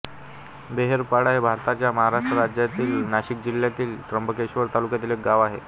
बेहेडपाडा हे भारताच्या महाराष्ट्र राज्यातील नाशिक जिल्ह्यातील त्र्यंबकेश्वर तालुक्यातील एक गाव आहे